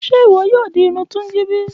Ṣe iwọ yoo di irun Tunji bi?